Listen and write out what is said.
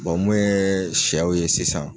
mun ye sɛw ye sisan